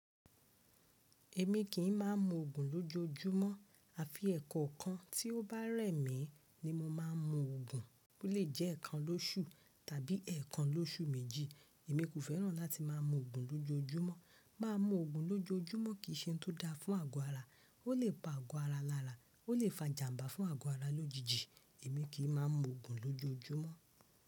Èmi kì í má a mu Òogùn lójoojúmọ́. À fi ẹ̀kọ kan tí ó bá rẹ̀ mí ni mo máa n mu Òogùn. Ó lè jẹ́ ẹ̀kan lósù tàbí ẹ̀ẹ̀kan lósù méjì. Èmi kò fẹ́ràn láti má a mu Ògùn lójojúmọ́. Má a mu Òogùn lójoojúmọ́ kì í ṣe ohun tó da fún àgọ́ ara. Ó lè pa àgọ́ ara lára, ó lè fa ìjàmbá fún àgọ́ ara lójijì. Èmi kì í má a mu Ògùn lójojúmọ́.